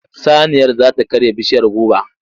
Saniyar za ta karya bishiyar goba.